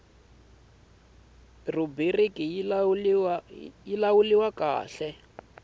rhubiriki yo lawula rk hl